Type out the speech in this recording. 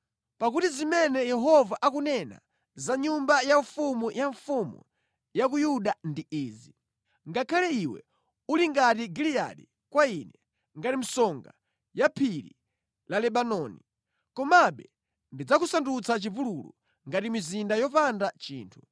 Pakuti zimene Yehova akunena za nyumba yaufumu ya mfumu ya ku Yuda ndi izi: “Ngakhale iwe uli ngati Giliyadi kwa Ine, ngati msonga ya phiri la Lebanoni, komabe ndidzakusandutsa chipululu, ngati mizinda yopanda anthu.